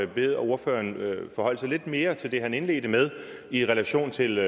bede ordføreren forholde sig lidt mere til det han indledte med i relation til